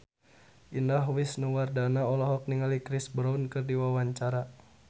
Indah Wisnuwardana olohok ningali Chris Brown keur diwawancara